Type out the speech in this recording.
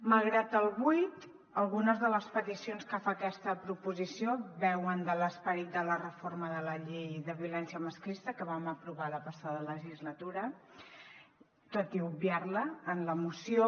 malgrat el buit algunes de les peticions que fa aquesta proposició beuen de l’esperit de la reforma de la llei de violència masclista que vam aprovar la passada legislatura tot i obviar la en la moció